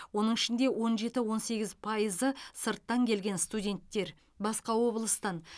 оның ішінде он жеті он сегіз пайызы сырттан келген студенттер басқа облыстан